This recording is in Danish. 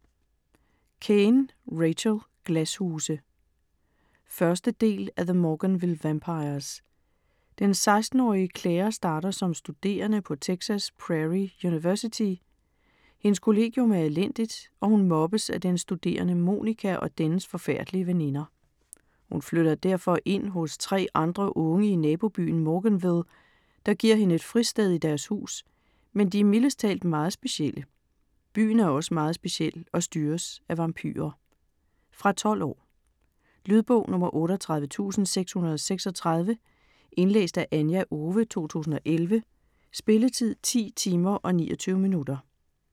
Caine, Rachel: Glashuse 1. del af The Morganville vampires. Den 16-årige Claire starter som studerende på Texas Prairie University. Hendes kollegium er elendigt, og hun mobbes af den studerende Monica og dennes forfærdelige veninder. Hun flytter derfor ind hos tre andre unge i nabobyen Morganville, der giver hende et fristed i deres hus, men de er mildest talt meget specielle. Byen er også meget speciel og styres af vampyrer. Fra 12 år. Lydbog 38636 Indlæst af Anja Owe, 2011. Spilletid: 10 timer, 29 minutter.